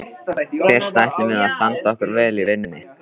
Fyrst ætlum við að standa okkur vel í vinnunni.